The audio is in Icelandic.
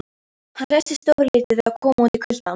Hann hresstist ofurlítið við að koma út í kuldann.